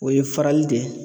O ye farali de ye.